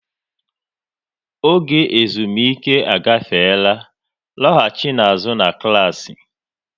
Oge ezumike agafeela, lọghachinu na klassị!